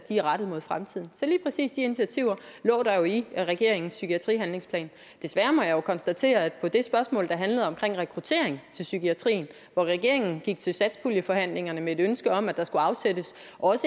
er rettet mod fremtiden så lige præcis de initiativer lå der jo i regeringens psykiatrihandlingsplan desværre må jeg jo konstatere at i det spørgsmål der handlede om rekruttering til psykiatrien og hvor regeringen gik til satspuljeforhandlingerne med et ønske om at der skulle afsættes